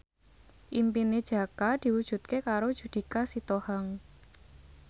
impine Jaka diwujudke karo Judika Sitohang